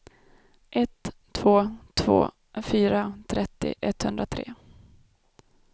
ett två två fyra trettio etthundratre